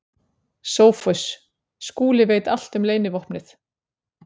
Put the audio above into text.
SOPHUS: Skúli veit allt um leynivopnið.